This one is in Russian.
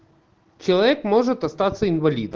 человек может остаться инвалидом